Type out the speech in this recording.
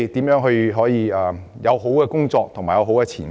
如何能有好的工作和前景？